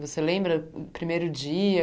Você lembra do primeiro dia?